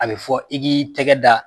A bɛ fɔ i k'i tɛgɛ da